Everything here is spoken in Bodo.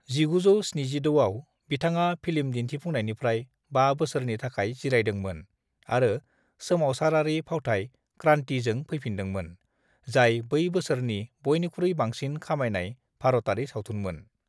"1976 आव, बिथाङा फिल्म दिन्थिफुंनायनिफ्राय बा बोसोरनि थाखाय जिरायदोंमोन आरो सोमावसारारि फावथाय 'क्रांति' जों फैफिनदोंमोन, जाय बै बोसोरनि बयनिख्रुइ बांसिन खामायनाय भारतारि सावथुनमोन।"